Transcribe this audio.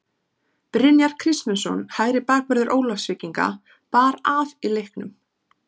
Brynjar Kristmundsson hægri bakvörður Ólafsvíkinga bar af í leiknum.